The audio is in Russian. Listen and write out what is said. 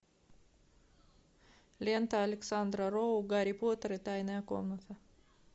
лента александра роу гарри поттер и тайная комната